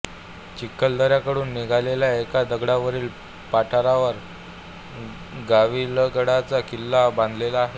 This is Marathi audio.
चिखलदऱ्याकडून निघालेल्या एका दांडावरील पठारावर गाविलगडाचा किल्ला बांधलेला आहे